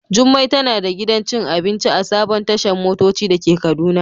Jummai tana da gidan cin abinci a sabon tashan motoci dake kaduna.